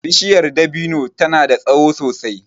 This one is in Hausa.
Bishiyar dabino ta na da tsaho sosai